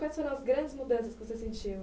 Quais foram as grandes mudanças que você sentiu?